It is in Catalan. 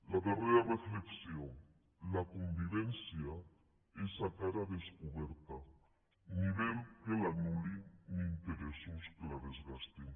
la darrera reflexió la convivència és a cara descoberta ni vel que l’anul·li ni interessos que la desgastin